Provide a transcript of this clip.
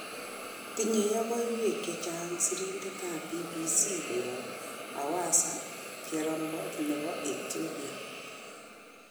Tinye yogoiiweek chechang' sirindet ab BBC koyob Hawasa, cherong'o nebo Ethiopia.